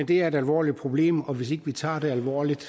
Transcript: det er et alvorligt problem og hvis ikke vi tager det alvorligt